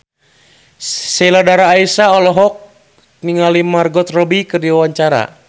Sheila Dara Aisha olohok ningali Margot Robbie keur diwawancara